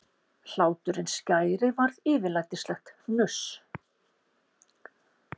Hláturinn skæri varð yfirlætislegt hnuss.